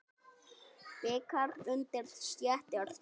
Bikar undir stétt er sú.